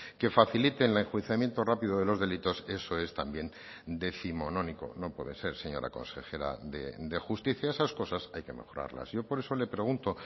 que faciliten el enjuiciamiento rápido de los delitos eso es también décimonónico no puede ser señora consejera de justicia esas cosas hay que mejorarlas yo por eso le pregunto